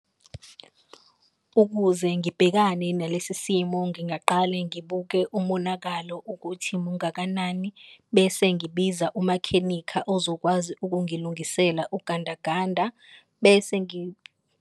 Ukuze ngibhekane nalesi simo ngingaqale ngibuke umonakalo ukuthi mungakanani, bese ngibiza umakhenikha ozokwazi ukungilungisela ugandaganda bese .